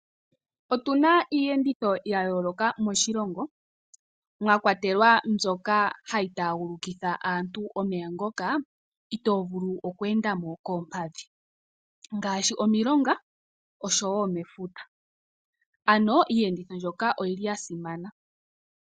Otuna iiyenditho yayooloka moshilongo , mwakwatelwa mbyoka hayi taagulukitha aantu omeya ngoka, itoo vulu okweendamo koompadhi ngaashi omilongo oshowoo mefuta . Iiyenditho mbyoka oyili yasimana.